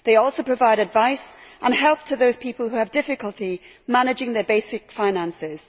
They also provide advice and help to those people who have difficulty managing their basic finances.